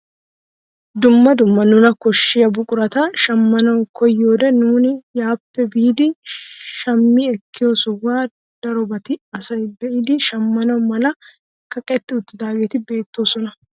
Dumma dumma nuna koshiyaa buqurata shammanawu koyiyoode nuni yaappe biidi shammi ekkiyoo sohuwaan darobati asay be'idi shammana mala kaqetti uttidaageti beettoosona.